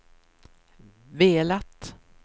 velat